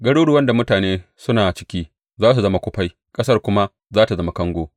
Garuruwan da mutane suna ciki za su zama kufai ƙasar kuma za tă zama kango.